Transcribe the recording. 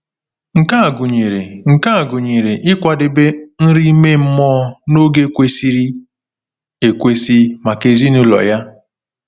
Nke a gụnyere Nke a gụnyere ịkwadebe nri ime mmụọ n’oge kwesịrị ekwesị maka ezinụlọ ya.